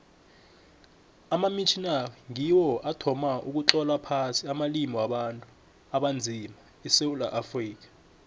amamitjhnari ngiwo athoma ukutlola phasi amalimi wabantu abanzima esewula afrika